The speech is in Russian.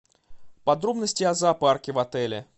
подробности о зоопарке в отеле